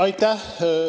Aitäh!